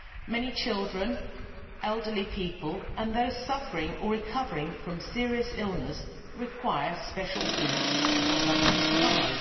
Many children, elderly people and those suffering or recovering from serious illness require special food products to survive.